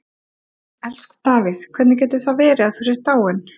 Elsku Davíð, hvernig getur það verið að þú sért dáinn?